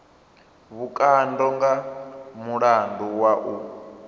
vhukando nga mulandu wa u